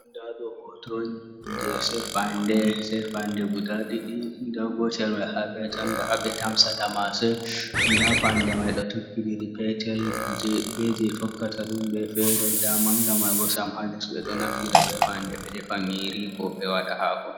Nda ɗo hoto on je set fande guda ɗiɗi, nda gotel mai habe tanda ha ɓe tamsata mase, nda fande mai ɗo tokkidiri petel be je tokkata ɗum be fere, nda manga mai sam ha les, ɓe ɗo naftira be fande ɓe defa nyiri ko be waɗa hako.